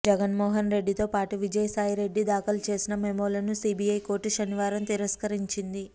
జగన్మోహన్ రెడ్డితో పాటు విజయసాయిరెడ్డి దాఖలు చేసిన మెమోలను సిబిఐ కోర్టు శనివారం తిరస్కరించింది